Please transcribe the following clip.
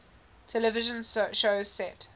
television shows set